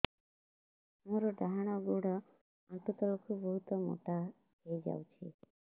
ମୋର ଡାହାଣ ଗୋଡ଼ ଆଣ୍ଠୁ ତଳକୁ ବହୁତ ମୋଟା ହେଇଯାଉଛି